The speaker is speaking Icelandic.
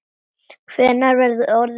Hvenær verð ég orðinn góður?